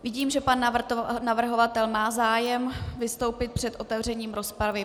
Vidím, že pan navrhovatel má zájem vystoupit před otevřením rozpravy.